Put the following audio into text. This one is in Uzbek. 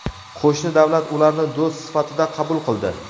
Qo‘shni davlat ularni do‘st sifatida qabul qildi.